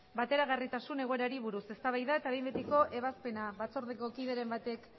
bateragarritasun egoerari buruz eztabaida eta behin betiko ebazpena batzordeko kideren batek